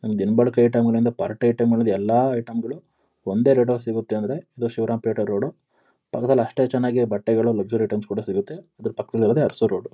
ದಿನಬಳಕೆ item ಗಳಿಂದ party item ವರೆಗೆ ಎಲ್ಲ ಐಟಂ ಗಳು ಒಂದೇ ರೇಟ್ ಅಲ್ಲಿ ಸಿಗುತ್ತೆ. ಅಂದ್ರೆ ಅದು ಶಿವರಾಂಪೇಟೆ ರೋಡು . ಪಕ್ಕದಲ್ಲಿ ಅಷ್ಟೇ ಚೆನ್ನಾಗಿ ಬಟ್ಟೆಗಳು ಲಕ್ಸುರಿ ಐಟಂಸ್ ಕೂಡ ಸಿಗುತ್ತೆ. ಅದ್ರ ಪಕ್ಕದಲ್ಲಿರೋದೇ ಅರಸು ರೋಡ್ .